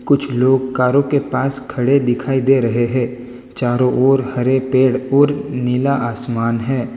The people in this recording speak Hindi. कुछ लोग कारों के पास खड़े दिखाई दे रहे है चारों ओर हरे पेड़ और नीला आसमान है।